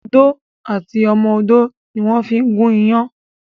Odó àti ọmọ odó ni wón fí ń gún iyán